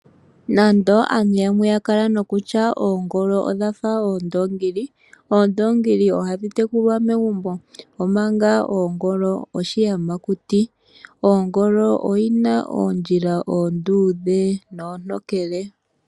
Nando aantu yamwe yakala nokutya oongolo odhafa oondoongili, oondongili oha dhi tekulwa megumbo, omanga oongolo oshiyamakuti. Oongolo oyina oondjila oonduudhe nontokele.